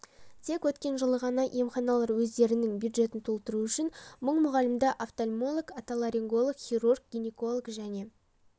тек өткен жылы ғана емханалар өздерінің бюджетін толтыру үшін мың мұғалімді офтальмолог отоларинголог хирург гинеколог және